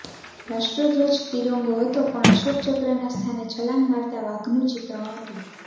રાષ્ટ્રધ્વજ તિરંગો હતો પણ અશોકચક્રના સ્થાને છલાંગ મારતા વાઘનું ચિત્રણ હતું